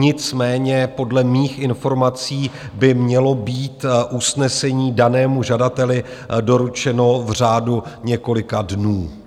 Nicméně podle mých informací by mělo být usnesení danému žadateli doručeno v řádu několika dnů.